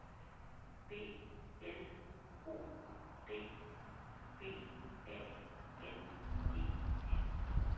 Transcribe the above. B L O D B A N E N